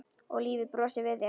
Og lífið brosir við þér!